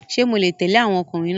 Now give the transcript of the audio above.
Ṣé mo lè tẹ̀lé àwọn ọkùnrin náà?